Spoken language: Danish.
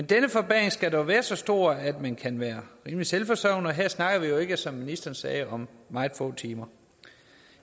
denne forbedring skal dog være så stor at man kan være rimelig selvforsørgende og her snakker vi jo ikke som ministeren sagde om meget få timer